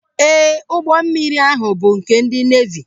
Ee, ụgbọ mmiri ahụ bụ nke ndị neevi.